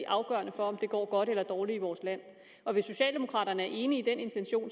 afgørende for om det går godt eller dårligt i vores land hvis socialdemokraterne er enige i den intention